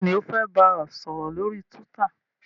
béèni o fè bá sòrò lórí twitter.